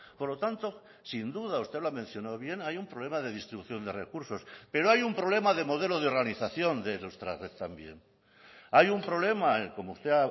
por lo tanto sin duda usted lo ha mencionado bien hay un problema de distribución de recursos pero hay un problema de modelo de organización de nuestra red también hay un problema como usted